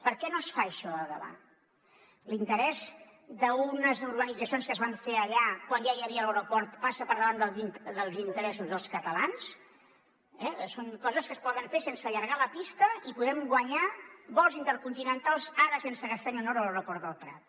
per què no es fa això a gavà l’interès d’unes urbanitzacions que es van fer allà quan ja hi havia l’aeroport passa per davant dels interessos dels catalans són coses que es poden fer sense allargar la pista i podem guanyar vols intercontinentals ara sense gastar ni un euro a l’aeroport del prat